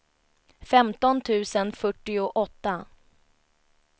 femton tusen fyrtioåtta